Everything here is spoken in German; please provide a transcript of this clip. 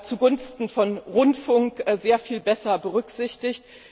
zugunsten des Rundfunks sehr viel besser berücksichtigt.